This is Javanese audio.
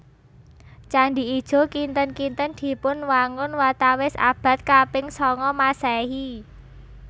Candhi Ijo kinten kinten dipunwangun watawis abad kaping sanga Maséhi